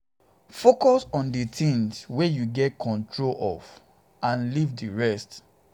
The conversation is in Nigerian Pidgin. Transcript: um focus on di things wey you get control of and leave um di rest di rest